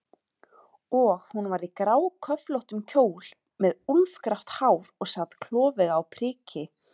Og hún var í gráköflóttum kjól og með úlfgrátt hár og sat klofvega á priki.